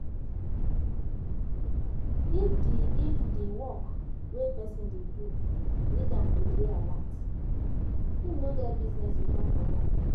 If di if di work wey person dey do need am to dey alert, im no get business with alcohol